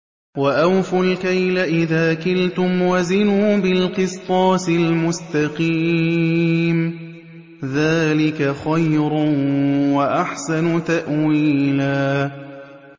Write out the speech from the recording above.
وَأَوْفُوا الْكَيْلَ إِذَا كِلْتُمْ وَزِنُوا بِالْقِسْطَاسِ الْمُسْتَقِيمِ ۚ ذَٰلِكَ خَيْرٌ وَأَحْسَنُ تَأْوِيلًا